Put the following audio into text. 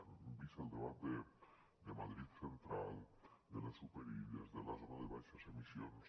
hem vist el debat de madrid central de les superilles de la zona de baixes emissions